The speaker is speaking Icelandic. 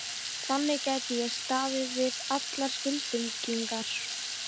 Þannig gæti ég staðið við allar skuldbindingar.